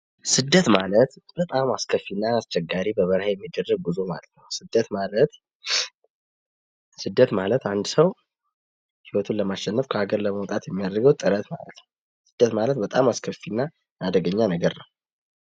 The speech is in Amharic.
ስደት ማለት በጣም አስከፊና አስቸጋሪ በበረሃ የሚደረግ ጉዞ ማለት ነው። ስደት ማለት አንድ ሰው ህይወቱን ለማሸነፍ ከሀገር በማውጣት የሚያደርገው ጥረት ማለት ነው። ስደት ማለት በጣም አስከፊና በጣም አደገኛ ነገር ነው።